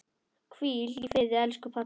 Hvíl í friði, elsku pabbi.